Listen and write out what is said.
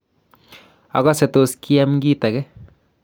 akose tos kiam kitage.